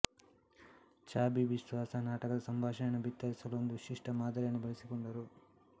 ಚಾಬಿ ಬಿಸ್ವಾಸ ನಾಟಕದ ಸಂಭಾಷಣೆ ಬಿತ್ತರಿಸಲು ಒಂದು ವಿಶಿಷ್ಟ ಮಾದರಿಯನ್ನು ಬೆಳೆಸಿಕೊಂಡರು